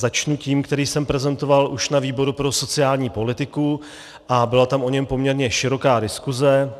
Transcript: Začnu tím, který jsem prezentoval už na výboru pro sociální politiku, a byla tam o něm poměrně široká diskuse.